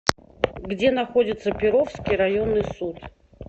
где находится перовский районный суд